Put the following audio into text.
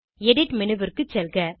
edit menu ற்கு செல்க